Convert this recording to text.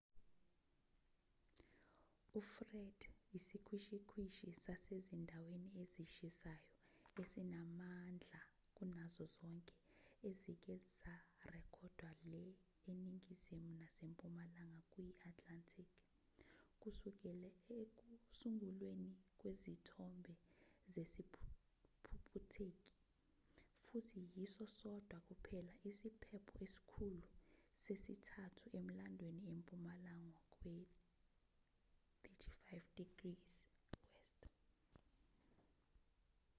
ufred isikhwishikhwishi sasezindaweni ezishisayo esinamandla kunazo zonke ezike zarekhodwa le eningizimu nasempumalanga kuyi-atlantic kusukela ekusungulweni kwezithombe zesiphuphutheki futhi yiso sodwa kuphela isiphepho esikhulu sesithathu emlandweni empumalanga kwe-35°w